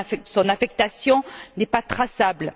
Son affectation n'est pas traçable.